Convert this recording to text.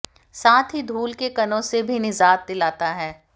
साथ ही धूल के कणों से भी निजात दिलाता है